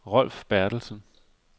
Rolf Bertelsen